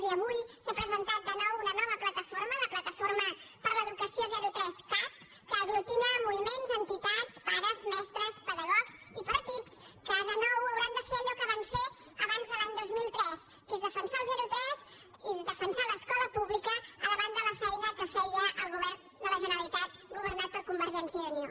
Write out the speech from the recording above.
i avui s’ha presentat de nou una nova plataforma la plataforma per l’educació zero tres cat que aglutina moviments entitats pares mestres pedagogs i partits que de nou hauran de fer allò que van fer abans de l’any dos mil tres que és defensar el zero tres i defensar l’escola pública davant de la feina que feia el govern de la generalitat governat per convergència i unió